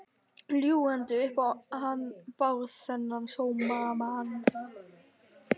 Ljúgandi upp á hann Bárð, þennan sómamann.